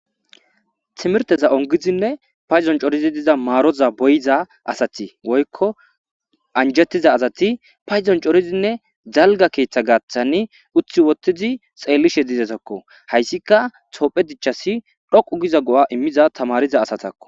Timirte ongidinne de7iza payidon daridi diza paroza beyiza woyikko anjettiza asati,payidon coridinne dalga keetha gaathan utti wottizi xeelishe dizaysako hayssika tophphiya dichchas dhoqqu giza wolqa go7a immizaysako.